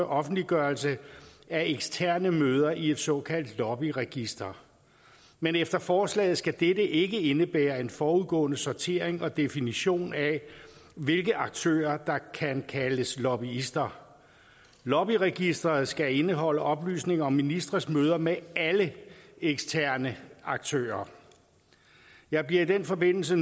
offentliggørelse af eksterne møder i et såkaldt lobbyregister men efter forslaget skal dette ikke indebære en forudgående sortering og definition af hvilke aktører der kan kaldes lobbyister lobbyregistreret skal indeholde oplysninger om ministres møder med alle eksterne aktører jeg bliver i den forbindelse